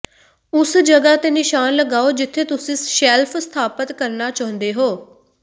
ਉਸ ਜਗ੍ਹਾ ਤੇ ਨਿਸ਼ਾਨ ਲਗਾਓ ਜਿੱਥੇ ਤੁਸੀਂ ਸ਼ੈਲਫ ਸਥਾਪਤ ਕਰਨਾ ਚਾਹੁੰਦੇ ਹੋ